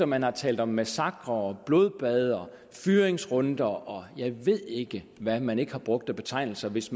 man har talt om massakrer blodbad fyringsrunder og jeg ved ikke hvad man ikke har brugt af betegnelser hvis